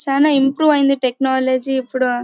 చానా ఇంప్రూవ్ అయింది టెక్నాలజీ . ఇప్పుడు--